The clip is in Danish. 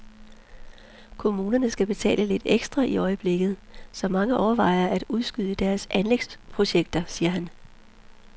Kommunerne skal betale lidt ekstra i øjeblikket, så mange overvejer at udskyde deres anlægsprojekteter, siger han.